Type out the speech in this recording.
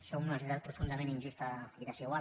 som una societat profundament injusta i desigual